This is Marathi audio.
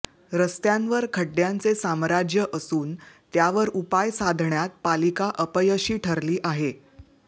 रस्त्यांवर खड्ड्यांचे साम्राज्य असून त्यावर उपाय साधण्यात पालिका अपयशी ठरली आहे